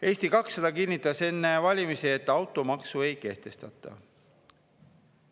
" Eesti 200 kinnitas enne valimisi, et automaksu ei kehtestata.